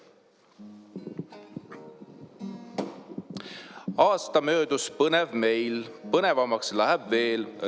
Aasta möödus põnev meil, põnevamaks läheb veel.